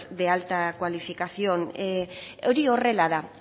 de alta cualificación hori horrela da